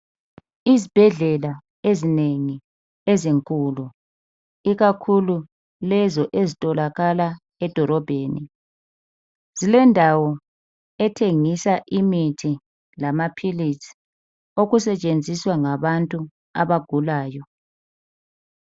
Izibhedlela ezinengi ezinkulu ikakhulu lezo ezitholakala edolobheni zilendawo ethengisa imithi lamaphilisi okusetshenziswa ngabantu abagulayo.